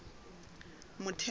motheo